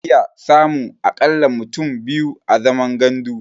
Za'a iya samun a ƙalla mutum biyu a zaman gandu.